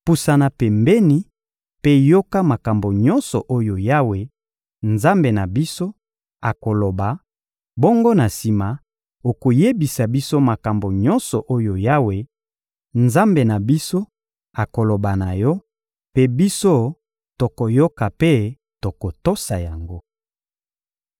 Pusana pembeni mpe yoka makambo nyonso oyo Yawe, Nzambe na biso, akoloba; bongo na sima, okoyebisa biso makambo nyonso oyo Yawe, Nzambe na biso, akoloba na yo; mpe biso tokoyoka mpe tokotosa yango.»